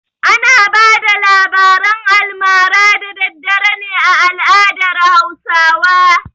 Ana bada labaran almara da dare ne a al'adar Hausawa.